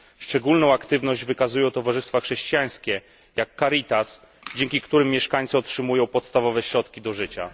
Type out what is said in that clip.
Szczególną aktywność wykazują towarzystwa chrześcijańskie, jak Caritas, dzięki którym mieszkańcy otrzymują podstawowe środki do życia.